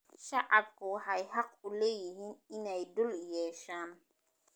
Shacabku waxay xaq u leeyihiin inay dhul yeeshaan.